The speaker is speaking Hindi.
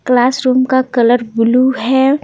क्लासरूम का कलर ब्लू है।